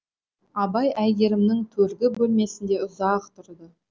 абай әйгерімнің төргі бөлмесінде ұзақ тұрды